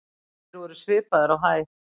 Þeir voru svipaðir á hæð.